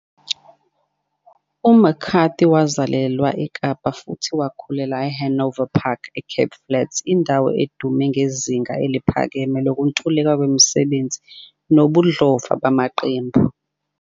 U-McCarthy wazalelwa IKapa futhi wakhulela IHanover Park eCape Flats, indawo edume ngezinga eliphakeme lokuntuleka kwemisebenzi nobudlova bamaqembu.